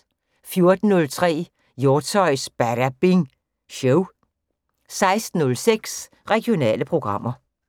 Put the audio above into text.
14:03: Hjortshøjs Badabing Show 16:06: Regionale programmer